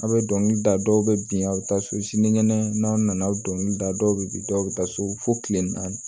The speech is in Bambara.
A' bɛ dɔnkili da dɔw bɛ bin a' bɛ taa so sinikɛnɛ n'aw nana aw dɔnkili da dɔw bɛ bin dɔw bɛ taa so fo tile naani